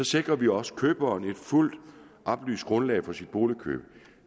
sikrer vi også køberen et fuldt oplyst grundlag for sit boligkøb